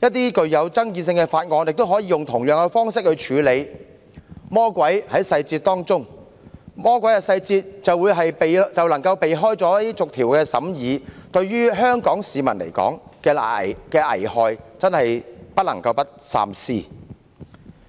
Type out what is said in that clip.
皆因一些具爭議的法案也可以用同樣方式處理，但許多時，魔鬼在細節中，如採取這種方式，魔鬼細節便能避過逐項審議的程序，遺害或許頗大，故不得不三思。